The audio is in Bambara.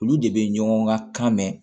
Olu de bɛ ɲɔgɔn ka kan mɛn